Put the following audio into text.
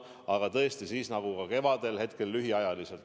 Aga tõesti, nagu kevadel, ka nüüd lühikeseks ajaks.